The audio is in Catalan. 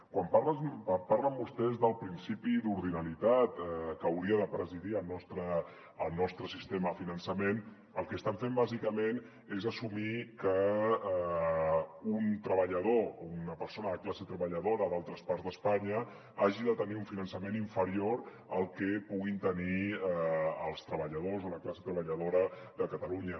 quan parlen vostès del principi d’ordinalitat que hauria de presidir el nostre sistema de finançament el que estan fent bàsicament és assumir que un treballador una persona de classe treballadora d’altres parts d’espa·nya hagi de tenir un finançament inferior al que puguin tenir els treballadors o la classe treballadora de catalunya